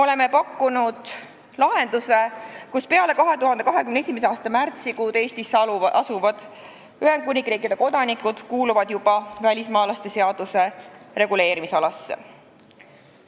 Oleme pakkunud lahenduse, et peale 2021. aasta märtsi Eestisse asuvad Ühendkuningriigi kodanikud jäävad juba välismaalaste seaduse reguleerimisalasse.